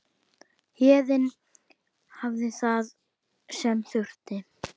Héðinn hafði það sem þurfti.